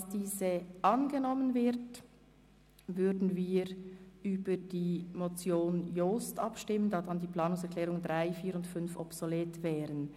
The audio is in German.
Sollte diese angenommen werden, würden wir über die Motion Jost abstimmen, da danach die Planungserklärungen 3, 4 und 5 je nachdem obsolet wären.